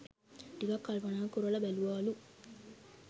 ටිකක් කල්පනා කොරලා බැලුවාලු